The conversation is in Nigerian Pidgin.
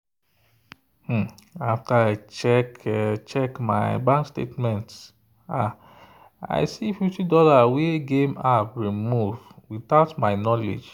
after i check my bank statement i see fifty dollarswey game app remove without my knowledge.